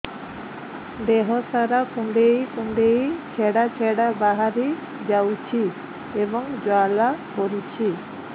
ଦେହ ସାରା କୁଣ୍ଡେଇ କୁଣ୍ଡେଇ ଛେଡ଼ା ଛେଡ଼ା ବାହାରି ଯାଉଛି ଏବଂ ଜ୍ୱାଳା କରୁଛି